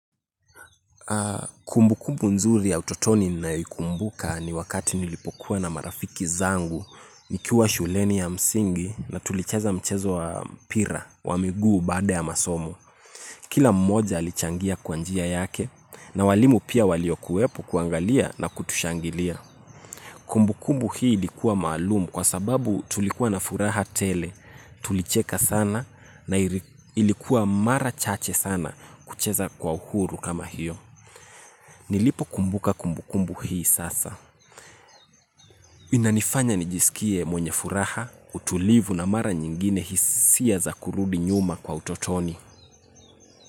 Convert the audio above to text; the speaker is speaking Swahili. Kumbukumbu nzuri ya utotoni ninayo ikumbuka ni wakati nilipokuwa na marafiki zangu. Nikiwa shuleni ya msingi na tulicheza mchezo wa mpira wa miguu baada ya masomo. Kila mmoja alichangia kwa njia yake na walimu pia waliokuwepo kuangalia na kutushangilia. Kumbukumbu hii ilikuwa maalumu kwa sababu tulikuwa na furaha tele. Tulicheka sana na ilikuwa mara chache sana kucheza kwa uhuru kama hiyo. Nilipo kumbuka kumbukumbu hii sasa. Inanifanya nijisikie mwenye furaha, utulivu na mara nyingine hisia za kurudi nyuma kwa utotoni.